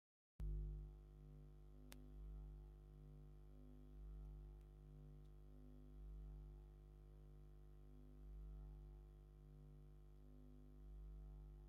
ታሪካዊ ቦታ ን ቱሪስት መስሕብ ዝጠቕም ኣብቲ ታሪካዊ ቦታ ሓደ ሰብ በቲ በሪ ይኣቲ ኣሎ ብተወሳኪ ደረጃ መውፅኢ ኣለዎ ።